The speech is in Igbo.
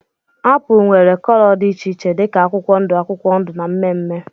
Apụl nwere cóló dị iche iche dika akwụkwọ ndụ akwụkwọ ndụ na mmee mmee.